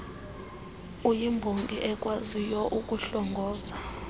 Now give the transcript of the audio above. uyimbongi ekwaziyo ukuhlongoza